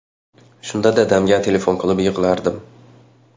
Shunda dadamga telefon qilib yig‘lardim.